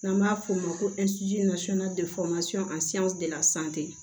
N'an b'a f'o ma ko